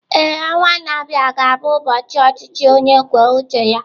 Ee, ọnwa a na-abịa ga-abụ ụbọchị ọchịchị onye kwuo uche ya